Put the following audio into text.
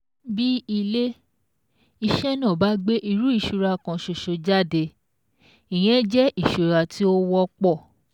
Bí ilé-iṣẹ́ náà bá gbé irú ìṣura kan ṣoṣo jáde, ìyẹn jẹ́ ìṣura tí ó wọ́pọ̀